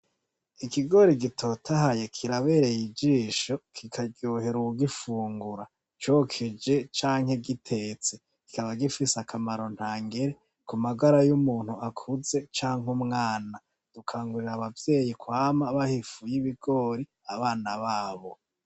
Ikigori gitotahaye kirabereye ijisho kikaryohera uwugifungura cokeje canke gitetse kikaba gifise akamaro ntangere kumagara y' umuntu akuze canke umwana, dukangurira abavyeyi kwama baha ifu y' ibigori abana babo.